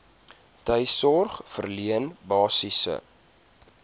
tuissorg verleen basiese